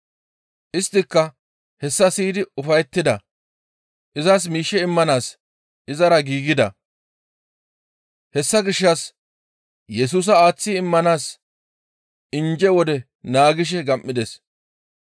Isttika hessa siyidi ufayettida; izas miishshe immanaas izara giigida; hessa gishshas Yesusa aaththi immanaas injje wode naagishe gam7ides.